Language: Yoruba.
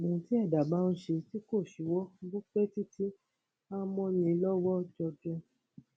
ohun tí ẹdá bá ń ṣe tí kò ṣíwọ bó pẹ títí a mọ ni lọwọ jọjọ